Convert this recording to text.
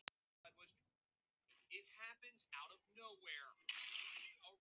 Pína, við förum ekki heim með Kol.